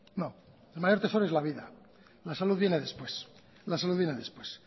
no el mayor tesoro es la vida la salud viene después